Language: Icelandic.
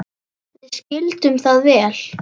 Við skildum það vel.